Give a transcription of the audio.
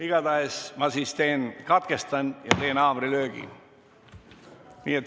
Igatahes, ma katkestan ja teen haamrilöögi.